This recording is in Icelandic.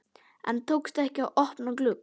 En tókst ekki að opna glugg